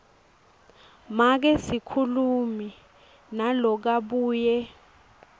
make sikhulumi nalokabuye